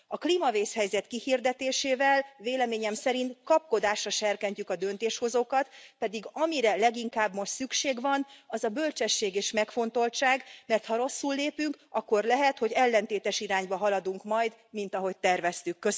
A klímavészhelyzet kihirdetésével véleményem szerint kapkodásra serkentjük a döntéshozókat, pedig amire leginkább most szükség van, az a bölcsesség és megfontoltság, mert ha rosszul lépünk, akkor lehet, hogy ellentétes irányba haladunk majd, mint ahogy terveztük.